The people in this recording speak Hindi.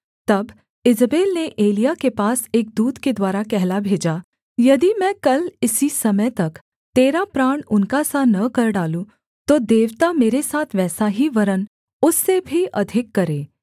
तब ईजेबेल ने एलिय्याह के पास एक दूत के द्वारा कहला भेजा यदि मैं कल इसी समय तक तेरा प्राण उनका सा न कर डालूँ तो देवता मेरे साथ वैसा ही वरन् उससे भी अधिक करें